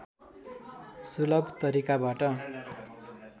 शुलभ तरिकाबाट